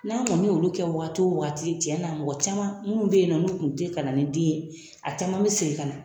N'a kɔni olu kɛ waati o waati tiɲɛ na mɔgɔ caman minnu bɛ yen nɔ olu tun tɛ ka na ni den ye a caman bɛ segin ka na